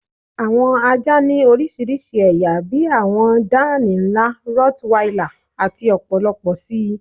Awọn àjá ni oríṣiríṣí ẹ̀yà bí àwọn dánìí nla, rottweiler, àti ọ̀pọ̀lọ̀pọ̀ sí.